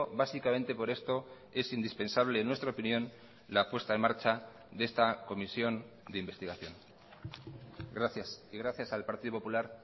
básicamente por esto es indispensable en nuestra opinión la puesta en marcha de esta comisión de investigación gracias y gracias al partido popular